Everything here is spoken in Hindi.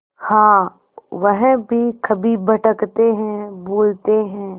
हाँ वह भी कभी भटकते हैं भूलते हैं